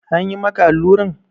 An yi maka alluran?